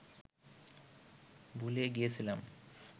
ভুলে গিয়েছিলাম